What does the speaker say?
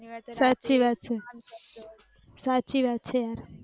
સાચી વાત છે સાચી વાત છે